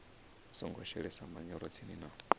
songo shelesa manyoro tsini na